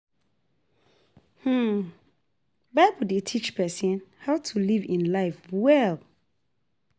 Bible dey teach pesin how to live im life well.